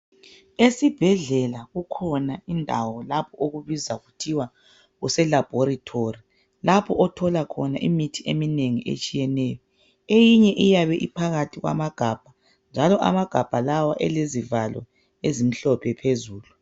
Esibhedlela kukhona indawo lapho okubizwa kuthiwa kuselabhorethori lapho othola khona imithi eminengi etshiyeneyo. Eyinye iyabe iphakathi kwamagabha. Njalo amagabha lawa alezivalo ezimhlophe phezulu.